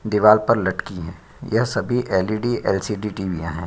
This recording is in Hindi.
दीवार पर लटकी हैं यह सभी एल.ई.डी. एल.सी.डी. टी.वी. याँ हैं।